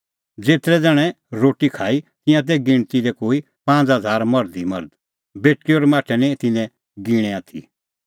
ज़ेतरै ज़ण्हैं रोटी खाई तिंयां तै गिणती दी कोई पांज़ हज़ार मर्ध ई मर्ध बेटल़ी और माठै निं तिन्नैं गिणैं आथी